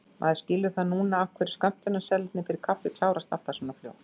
Maður skilur það núna af hverju skömmtunarseðlarnir fyrir kaffið klárast alltaf svona fljótt!